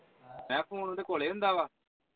ਮੈਂ phone ਉਹਦੇ ਕੋਲੇ ਹੁੰਦਾ ਵਾਂ?